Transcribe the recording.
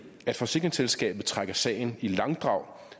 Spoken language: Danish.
at forsikringsselskabet trækker sagen i langdrag